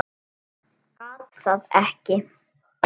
Gat það ekki.